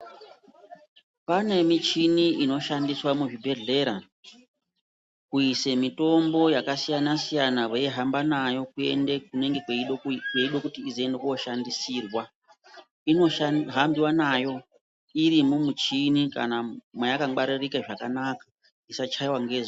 Pane michini inoshandiswa muzvibhedhlera kuise mitombo yakasiyana-siyana, veihamba nayo kuende kunenge kweide kuti izoende kooshandisirwa. Inohambiwa nayo iri mumuchini kana mweyakangwaririka zvakanaka, isachaiwa ngezuwa.